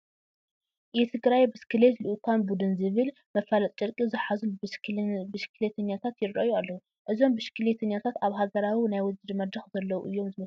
የትግራይ ብስክሌት ልኡካን ቡዱን ዝብል መፋለጢ ጨርቂ ዝሓዙ ብሽክሌተኛታት ይርአዩ ኣለዉ፡፡ እዞም ብሽክሌተኛታት ኣብ ሃገራዊ ናይ ውድድር መድረኽ ዘለዉ እዮም ዝመስሉ፡፡